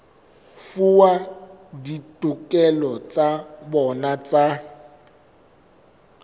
fuwa ditokelo tsa bona tsa